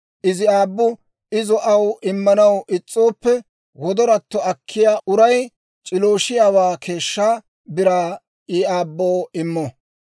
Izi aabbu izo aw immanaw is's'ooppe, wodoratto akkiyaa uray c'ilooshiyaawaa keeshshaa biraa I aabboo immo.